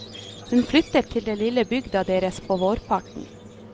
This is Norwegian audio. Hun flyttet til den lille bygda deres på vårparten.